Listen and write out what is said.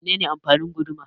Mene ne amfanin guduma?